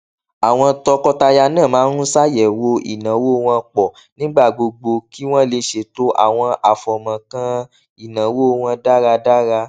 àwọn tọkọtaya náà máa ń ṣàyẹwò ináwó wọn pọ nígbà gbogbo kí wọn lè ṣètò àwọn àfọmọọkàn ináwó wọn dáradára